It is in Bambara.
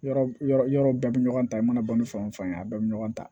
Yɔrɔ yɔrɔ yɔrɔ bɛɛ bɛ ɲɔgɔn ta i mana bɔ ni fan o fan ye a bɛɛ bɛ ɲɔgɔn ta